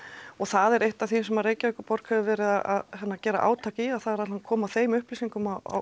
og það er eitt af því sem Reykjavíkurborg hefur verið að gera átak í það er að koma þeim upplýsingum á